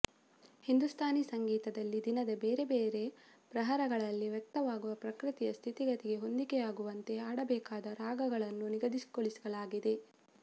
ಹಿಂದುಸ್ಥಾನಿ ಸಂಗೀತದಲ್ಲಿ ದಿನದ ಬೇರೆಬೇರೆ ಪ್ರಹರಗಳಲ್ಲಿ ವ್ಯಕ್ತವಾಗುವ ಪ್ರಕೃತಿಯ ಸ್ಥಿತಿಗತಿಗೆ ಹೊಂದಿಕೆಯಾಗುವಂತೆ ಹಾಡಬೇಕಾದ ರಾಗಗಳನ್ನು ನಿಗದಿಗೊಳಿಸಲಾಗಿದೆ